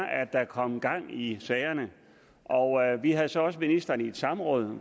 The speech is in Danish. der kom gang i sagerne vi havde så også ministeren i samråd